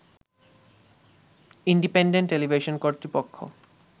independent television কর্তৃপক্ষ